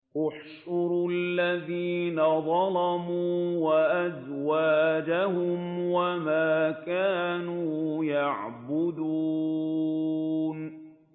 ۞ احْشُرُوا الَّذِينَ ظَلَمُوا وَأَزْوَاجَهُمْ وَمَا كَانُوا يَعْبُدُونَ